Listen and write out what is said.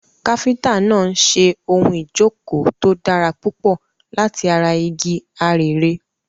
Káfíńtà náà ń ṣe ohun ìjókòó tó dára púpọ̀ láti ara igi arère.